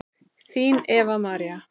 Þín Eva María.